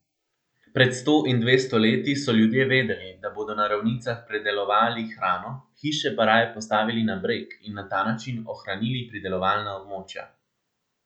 Pred sto in dvesto leti so ljudje vedeli, da bodo na ravnicah predelovali hrano, hiše pa raje postavili na breg in na ta način ohranili pridelovalna območja.